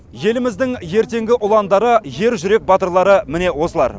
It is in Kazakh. еліміздің ертеңгі ұландары ер жүрек батырлары міне осылар